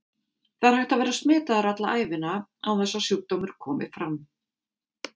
Það er hægt að vera smitaður alla ævina án þess að sjúkdómur komi fram.